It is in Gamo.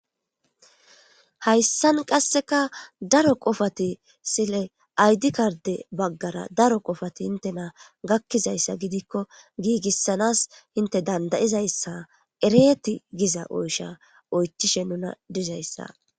Hayssan qasseka daro qofati sile aydi karde baggara daro qofati intena gakkizayssa gidikko giigissanas inte dandayizayssa ereti giza oysha oychishe nuna dizayssa.